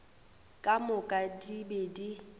ka moka di be di